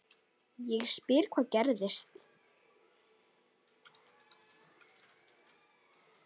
Ég spyr hvað gerðist?